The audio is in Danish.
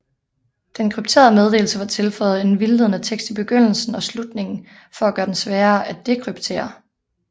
Den krypterede meddelelse var tilføjet en vildledende tekst i begyndelsen og slutningen for at gøre den sværere at dekryptere